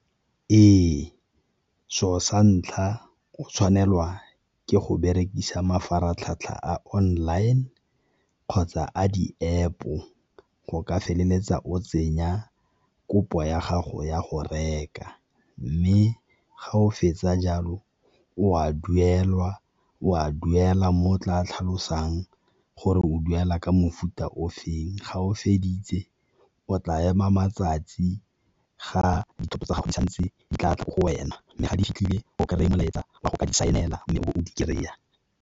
Ee, se'o sa ntlha o tshwanelwa ke go berekisa mafaratlhatlha a online kgotsa a di-App-o go ka feleletsa o tsenya kopo ya gago ya go reka. Mme ga o fetsa jalo o a duela mo o tla tlhalosang gore o duela ka mofuta o feng, ga o feditse o tla ema matsatsi ga dithoto tsa gago di santse di tla tla mo go wena mme ga di fitlhile o kry-a molaetsa wa go ka di sign-ela mme o bo di kry-a.